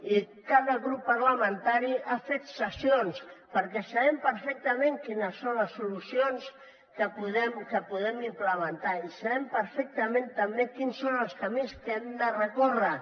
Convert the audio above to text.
i cada grup parlamentari ha fet cessions perquè sabem perfectament quines són les solucions que podem implementar i sabem perfectament també quins són els camins que hem de recórrer